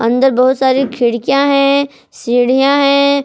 अंदर बहुत सारी खिड़कियां है सीढ़ियां है।